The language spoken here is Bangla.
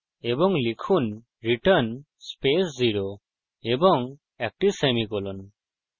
এবং লিখুন return স্পেস 0 এবং একটি সেমিকোলন ;